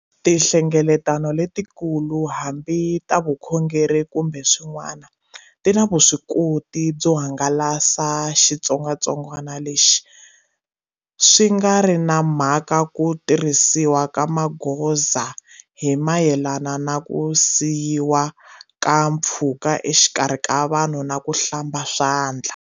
Tinhlengeletano letikulu, hambi ta vukhongeri kumbe swin'wana, ti na vuswikoti byo hangalasa xitsongwatsongwana lexi, swi nga ri na mhaka ku tirhisiwa ka magoza hi mayelana na ku siyiwa ka mpfhuka exikarhi ka vanhu na ku hlamba swandla.